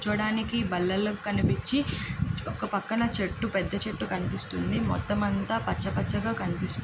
కూర్చోడానికి బళ్ళలోక్ కనిపిచ్చి ఒక పక్కన చెట్టు పెద్ద చెట్టు కనిపిస్తుంది. మొత్తం అంత పచ్చ పచ్చగా కనిపిస్తుంది.